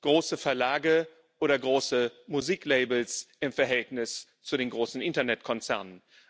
große Verlage oder große Musiklabels im Verhältnis zu den großen Internetkonzernen.